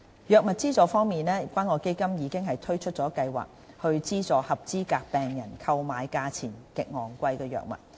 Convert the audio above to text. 藥物資助方面，關愛基金已推出計劃，資助合資格病人購買價錢極昂貴的藥物。